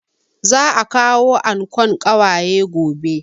Za a kawo ankon ƙawaye gobe